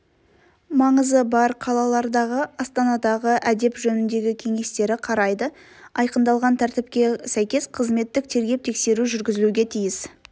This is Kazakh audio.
маңызы бар қалалардағы астанадағы әдеп жөніндегі кеңестері қарайды айқындалған тәртіпке сәйкес қызметтік тергеп-тексеру жүргізілуге тиіс